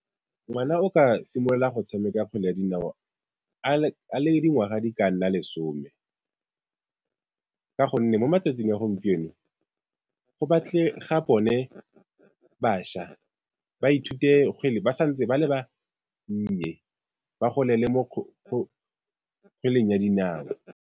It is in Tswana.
Ngwana o ka simolola go tshameka kgwele ya dinao a le dingwaga di ka nna lesome. Ka gonne mo matsatsing a gompieno go batlega bone bašwa ba ithute kgwele ba sa ntse ba le bannye ba golele mo kgweleng ya dinao.